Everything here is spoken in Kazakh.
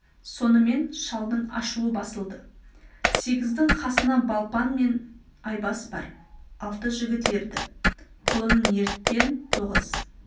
сонымен шалдың ашуы басылды сегіздің қасына балпан мен айбас бар алты жігіт ерді құлынын еріткен тоғыз